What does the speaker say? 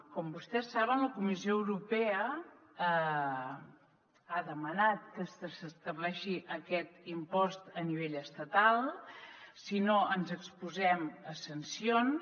com vostès saben la comissió europea ha demanat que s’estableixi aquest impost a nivell estatal si no ens exposem a sancions